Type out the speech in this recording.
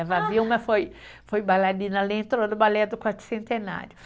Eva Vilma foi foi bailarina, ela entrou no balé do Quarto Centenário.